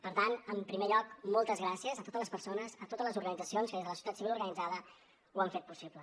per tant en primer lloc moltes gràcies a totes les persones a totes les organitzacions que des de la societat civil organitzada ho han fet possible